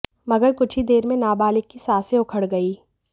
मगर कुछ ही देर में नाबालिग की सांसें उखड़ गई